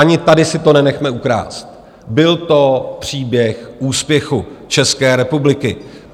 Ani tady si to nenechme ukrást, byl to příběh úspěchu České republiky.